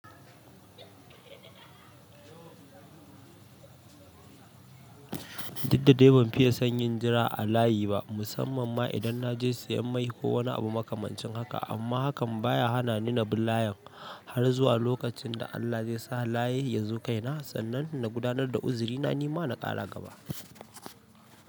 Duk da dai ban fiye son yin jira a layi ba, musamman ma idan na je siyan mai ko wani abu makamancin haka. Amma hakan ba ya hana ni na bi layin har zuwa lokacin da Allah zai sa layi ya zo kaina sannan na gudanar da uzurina, ni ma na ƙara gaba.